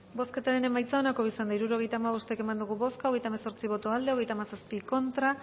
bozketaren emaitza onako izan da hirurogeita hamabost eman dugu bozka hogeita hemezortzi boto aldekoa treinta y siete contra